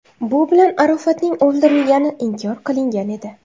Bu bilan Arofatning o‘ldirilgani inkor qilingan edi.